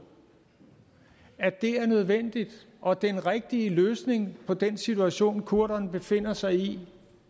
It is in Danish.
at det er nødvendigt og den rigtige løsning på den situation kurderne befinder sig i